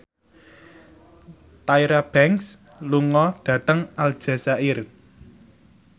Tyra Banks lunga dhateng Aljazair